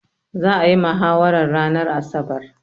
Za'a yi mahawarar ranar asabar.